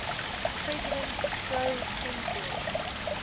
president pro tempore